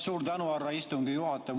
Suur tänu, härra istungi juhataja!